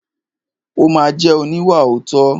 Ó ma jẹ́ oníwàòótọ́.